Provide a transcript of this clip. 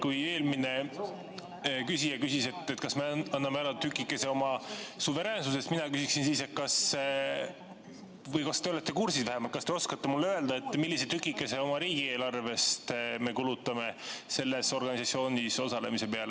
Kui eelmine küsija küsis, kas me anname ära tükikese oma suveräänsusest, siis mina küsin, kas te olete vähemalt kursis või kas te oskate mulle öelda, millise tükikese oma riigieelarvest me kulutame selles organisatsioonis osalemise peale.